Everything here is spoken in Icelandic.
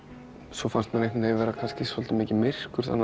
svo fannst mér einhvern veginn vera kannski svolítið mikið myrkur þannig